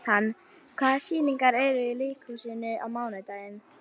Natan, hvaða sýningar eru í leikhúsinu á mánudaginn?